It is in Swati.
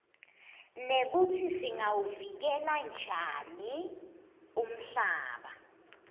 nekutsi singawuvikela njani umhlaba